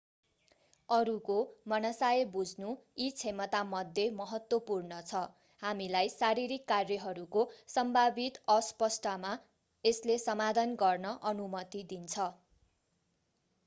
अरूको मनसाय बुझ्नु यी क्षमतामध्ये महत्त्वपूर्ण छ हामीलाई शारीरिक कार्यहरूको सम्भावित अस्पष्टतामा यसले समाधान गर्न अनुमति दिन्छ